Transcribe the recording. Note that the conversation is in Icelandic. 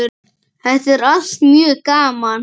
Þetta er allt mjög gaman.